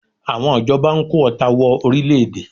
Àwọn ìjọba ń kó ọta wọ orílẹ̀-èdè